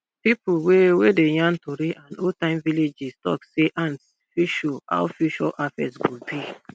pipo wey wey dey yarn tori and oldtime village gist talk say ants fit show how future harvest go be